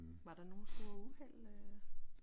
Var der nogen store uheld øh?